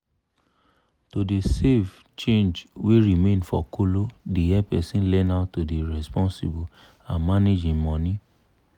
to dey save change wey remain for kolo dey help person learn how to dey responsible and manage im money.